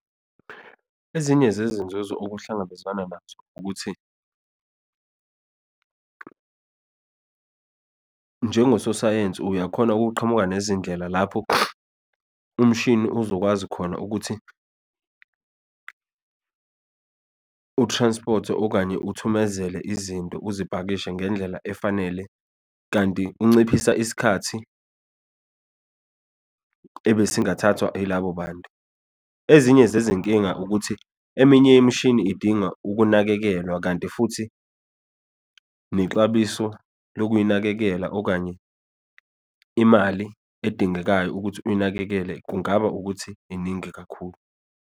Ezinye zezinzuzo okuhlangabezwana nazo, ukuthi njengososayensi uyakhona ukuqhamuka nezindlela lapho umshini uzokwazi khona ukuthi u-transport-e, okanye uthumezele izinto, uzipakishe ngendlela efanele, kanti unciphisa isikhathi ebe singathathwa ilabo bantu. Ezinye zezinkinga ukuthi, eminye imishini idinga ukunakekelwa, kanti futhi nexabiso lokuyinakekela, okanye imali edingekayo ukuthi uyinakekele kungaba ukuthi iningi kakhulu.